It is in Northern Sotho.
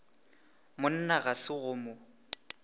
monna ga se go mo